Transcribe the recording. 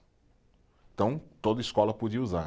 Então, toda escola podia usar.